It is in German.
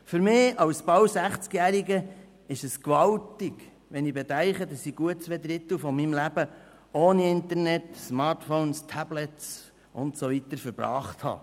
Für mich als bald 60-Jähriger ist es gewaltig, wenn ich bedenke, dass ich gut zwei Drittel meines Lebens ohne Internet, Smartphones, Tablets und so weiter verbracht habe.